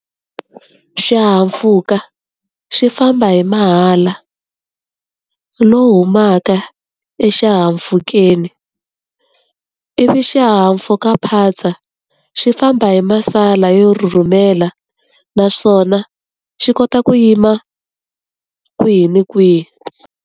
Xihahampfhuka xi famba hi mahala lowu humaka exihahampfhukeni. Ivi xihahampfhukaphatsa, xi famba hi masala yo rhurhumela naswona xi kota ku yima kwihi na kwihi.